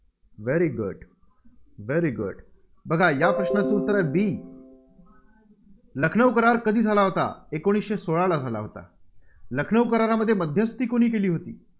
very good very good बघा या प्रश्नाचं उत्तर b लखनऊ करार कधी झाला होता? एकोणीसशे सोळाला झाला होता. लखनऊ करारामध्ये मध्यस्थी कुणी केली होती?